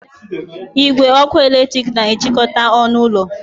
Igwe ọkụ eletrik na-ejikọta ọnụ ụlọ